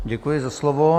Děkuji za slovo.